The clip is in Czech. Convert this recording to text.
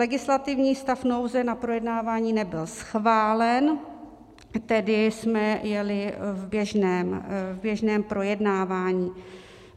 Legislativní stav nouze na projednávání nebyl schválen, tedy jsme jeli v běžném projednávání.